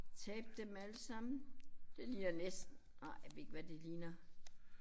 Tabe dem alle sammen. Det ligner næsten ej ved ikke hvad det ligner